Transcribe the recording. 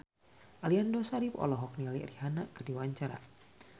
Aliando Syarif olohok ningali Rihanna keur diwawancara